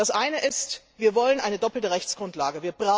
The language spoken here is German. Das eine ist, wir wollen eine doppelte Rechtsgrundlage.